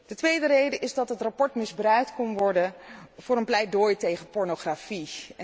De tweede reden is dat het verslag misbruikt kon worden voor een pleidooi tegen pornografie.